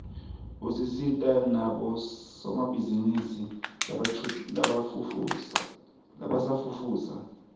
usita nabosomabhizinisi labasafufusa